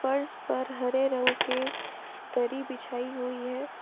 फर्श पर हरे रंग के दरी बिछाई हुई है।